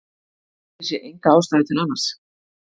Ég sé enga ástæðu til annars.